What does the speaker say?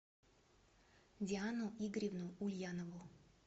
диану игоревну ульянову